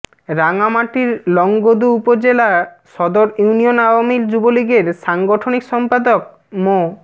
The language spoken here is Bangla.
রাঙামাটির লংগদু উপজেলা সদর ইউনিয়ন আওয়ামী যুবলীগের সাংগঠনিক সম্পাদক মো